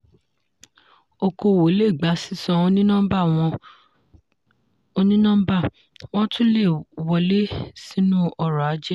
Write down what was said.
okòwò le gba sísan oní nọ́mbà wọ́n tún le wọlé sínú ọrọ̀-ajé.